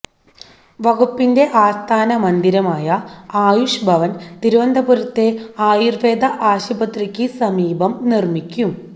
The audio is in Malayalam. വകുപ്പിന്റെ ആസ്ഥാന മന്ദിരമായ ആയുഷ് ഭവൻ തിരുവനന്തപുരത്തെ ആയുർവേദ ആശുപത്രിക്കു സമീപം നിർമ്മിക്കും